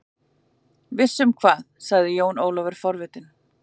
Viss um hvað, sagði Jón Ólafur forvitinn.